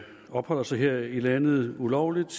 opholder sig her i landet ulovligt